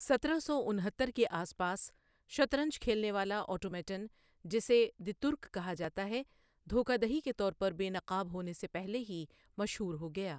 سترہ سو انہتر کے آس پاس، شطرنج کھیلنے والا آٹومیٹن جسے دی ترک کہا جاتا ہے، دھوکہ دہی کے طور پر بے نقاب ہونے سے پہلے ہی مشہور ہو گیا۔